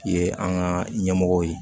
Ye an ka ɲɛmɔgɔw ye